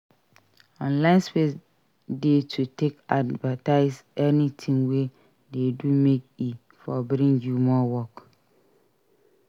Online space de to take advertise anything wey de do make e for bring you more work